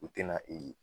U tɛna ee